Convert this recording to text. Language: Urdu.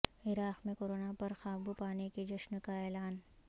عراق میں کورونا پر قابو پانے کے جشن کا اعلان